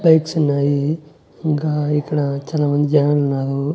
బైక్సున్నాయి ఇంకా ఇక్కడ చాలా మంది జనాలున్నారు.